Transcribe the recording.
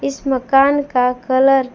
इस मकान का कलर --